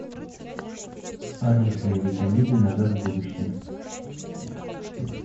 алиса найди комедию назад в будущее